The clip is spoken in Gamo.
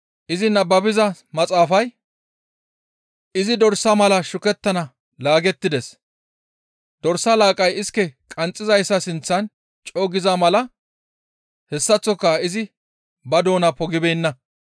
Izi nababiza maxaafay, «Izi dorsa mala shukettana laagettides; dorsa laaqqay iske qanxxizayssa sinththan co7u giza mala hessaththoka izi ba doona pogibeenna.